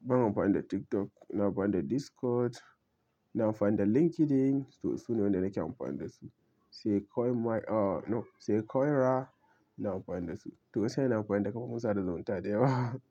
Ban amfani da TikTok, ina amfani da Discord, ina amfani da LinkedIn. To su ne wanda nake amfani da su. Sai Coinmi, ah no, sai Coinra na amfani da su. To sai na amfani da kafofin sada zumunta da yawa.